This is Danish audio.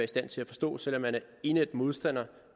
stand til at forstå selv om man er indædt modstander